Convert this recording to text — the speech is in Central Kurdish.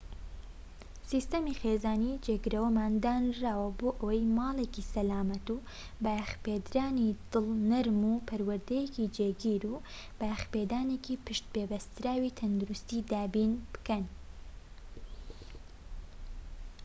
سیستەمی خێزانی جێگرەوەمان دانراوە بۆ ئەوەی ماڵێکی سەلامەت و بایەخپێدەرانی دڵ نەرم و پەروەردەیەکی جێگیر و بایەخپێدانێکی پشت پێبەستراوی تەندروستی دابین بکەن